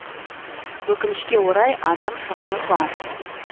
өкінішке орай адам шығыны бар